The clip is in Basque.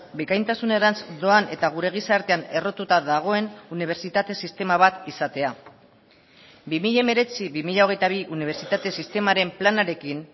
bikaintasunerantz doan eta gure gizartean errotuta dagoen unibertsitate sistema bat izatea bi mila hemeretzi bi mila hogeita bi unibertsitate sistemaren planarekin